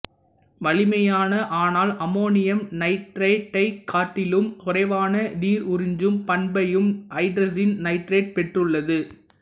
வலிமையான ஆனால் அமோனியம் நைட்ரேட்டைக் காட்டிலும் குறைவான நீருறிஞ்சும் பண்பையும் ஐதரசீன் நைட்ரேட்டு பெற்றுள்ளது